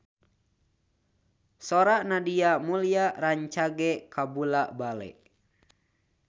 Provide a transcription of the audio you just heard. Sora Nadia Mulya rancage kabula-bale